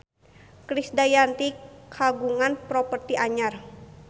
Krisdayanti kagungan properti anyar